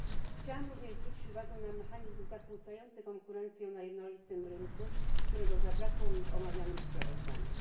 Chciałam również zwrócić uwagę na mechanizm zakłócający konkurencję na jednolitym rynku, którego zabrakło mi w omawianym sprawozdaniu.